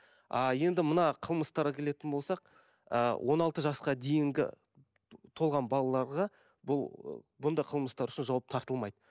а енді мына қылмыстарға келетін болсақ ііі он алты жасқа дейінгі толған балаларға бұл бұндай қылмыстар үшін жауап тартылмайды